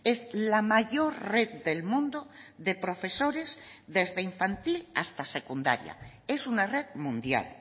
es la mayor red del mundo de profesores desde infantil hasta secundaria es una red mundial